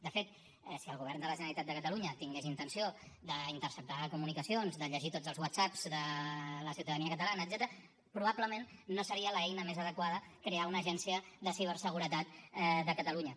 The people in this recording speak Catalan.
de fet si el govern de la generalitat de catalunya tingués intenció d’interceptar comunicacions de llegir tots els whatsappsment no seria l’eina més adequada crear una agència de ciberseguretat de catalunya